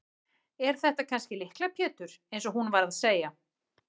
Er þetta kannski Lykla Pétur eins og hún var að segja?